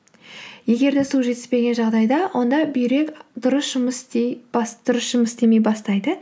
егер де су жетіспеген жағдайда онда бүйрек дұрыс жұмыс істемей бастайды